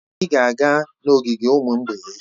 Anyị ga-aga n'ogige ụmụ mgbei echi.